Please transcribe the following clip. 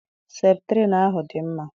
Septrin ahu dị mma.